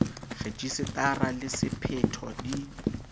rejise tara le sephetho di